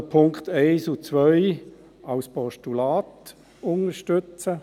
Also: Die Punkte 1 und 2 als Postulat unterstützen;